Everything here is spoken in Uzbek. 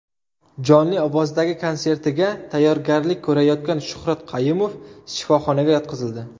Jonli ovozdagi konsertiga tayyorgarlik ko‘rayotgan Shuhrat Qayumov shifoxonaga yotqizildi.